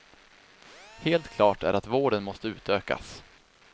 Helt klart är att vården måste utökas.